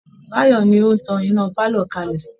Báyọ̀ ni ó tan iná pálọ̀ kalẹ̀